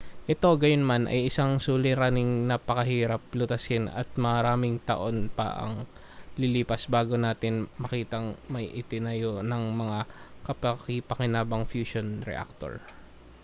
ito gayunman ay isang suliraning napakahirap lutasin at maraming taon pa ang lilipas bago natin makitang may itinayo nang mga kapaki-pakinabang na fusion reactor